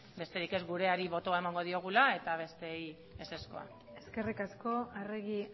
besterik ez gureari botoa emango diogula eta besteei ezezkoa eskerrik asko arregi